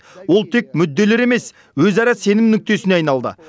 ол тек мүдделер емес өзара сенім нүктесіне айналды